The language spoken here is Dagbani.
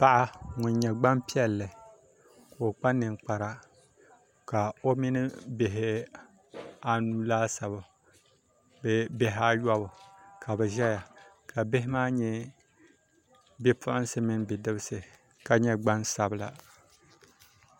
Paɣa ŋun nyɛ Gbanpiɛli ka o kpa ninkpara ka o mini bihi anu laasabu bee bihi ayobu ka bi ʒɛya ka bihi maa nyɛ bipuɣunsi mini bidibsi ka nyɛ gbansabila